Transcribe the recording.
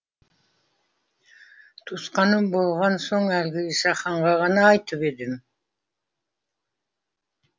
туысқаным болған соң әлгі исаханға ғана айтып едім